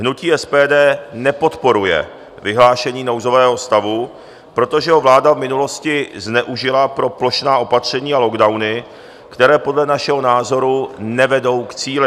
Hnutí SPD nepodporuje vyhlášení nouzového stavu, protože ho vláda v minulosti zneužila pro plošná opatření a lockdowny, které podle našeho názoru nevedou k cíli.